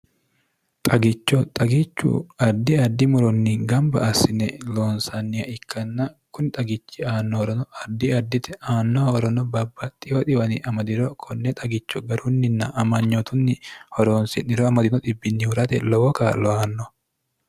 xagicho xagichu ardi addi moronni gamba assine lonsaanniya ikkanna kuni xagichi aannohorono ardi ardite aannoh horono babbaxxiyo diwani amadiro konne xagicho garunninna amanyootunni horoonsi'niro amadino bnhurate lowo ka loanno